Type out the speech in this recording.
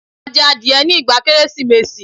A jẹ adìẹ ní ìgbà Kérésìmesì.